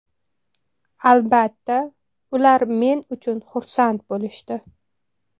Albatta, ular men uchun xursand bo‘lishdi.